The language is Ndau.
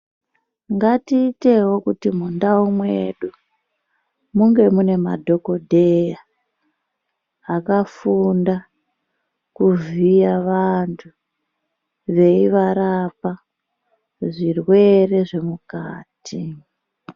Ngatiitewo kuti mundau mwedu munge mune madhokodheya akafunda kuvhiya vantu veivarapa zvirwere zvemukati.